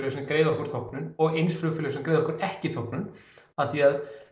sem greiða okkur þóknun og eins flugfélög sem að greiða okkur ekki þóknun af því að